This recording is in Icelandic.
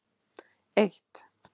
eitt